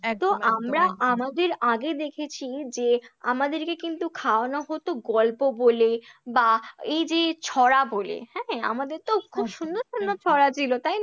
একদম একদম আমরা আমাদের আগে দেখেছি যে আমাদেরকে কিন্তু খাওয়ানো হতো গল্প বলে বা এই যে ছড়া বলে হ্যাঁ, আমাদের তো খুব সুন্দর সুন্দর ছড়া ছিল তাই